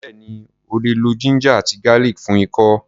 Bẹ́ẹ̀ni, o lè lo ginger àti garlic fún ikọ́.